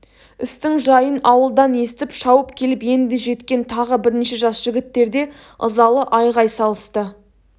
істің жайын ауылдан естіп шауып келіп енді жеткен тағы бірнеше жас жігіттер де ызалы айғай салысты